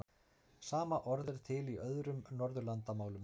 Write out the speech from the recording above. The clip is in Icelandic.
Sama orð er til í öðrum Norðurlandamálum.